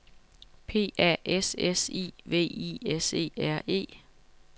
P A S S I V I S E R E